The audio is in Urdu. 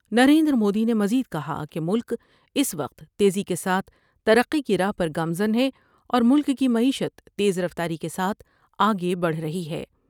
نریندرمودی نے مزید کہا کہ ملک اس وقت تیزی کے ساتھ ترقی کی راہ پر گامزن ہے اور ملک کی معیشت تیز رفتاری کے ساتھ آگے بڑھ رہی ہے ۔